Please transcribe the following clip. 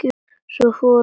Svo fór að snjóa.